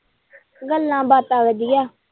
ਗੱਲਾਂ-ਬਾਤਾਂ ਵਧੀਆ।